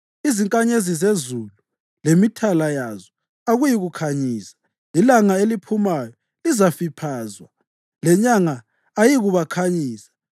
Izinkanyezi zezulu lemithala yazo akuyikukhanyisa. Ilanga eliphumayo lizafiphazwa lenyanga ayiyikukhanyisa.